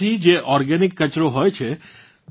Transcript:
તેમાંથી જે ઓર્ગેનિક કચરો હોય છે